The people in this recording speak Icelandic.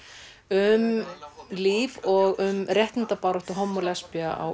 um líf og um réttindabaráttu homma og lesbía á